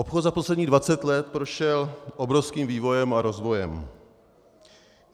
Obchod za posledních 20 let prošel obrovským vývojem a rozvojem.